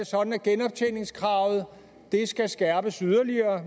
sådan at genoptjeningskravet skal skærpes yderligere